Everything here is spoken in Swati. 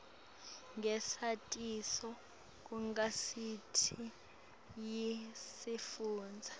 ngesatiso kugazethi yesifundza